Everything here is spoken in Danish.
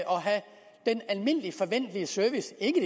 og have den almindelige forventelige service ikke